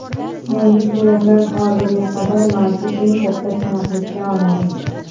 Yangi suratlar hozirga qadar mavjud eng katta tiniqlikda olingan.